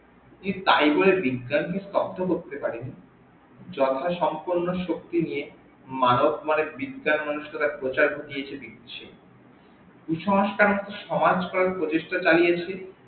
তাই বলে বিজ্ঞান কে স্তব্ধ করতে পারেনি যথা সম্পন্ন শক্তি নিয়ে মানব মনে বিজ্ঞান মনস্কতার প্রচার করিয়েছে নিজে কুসংস্কার একটা সমাজ গড়ে প্রতিষ্ঠা চালিয়েছে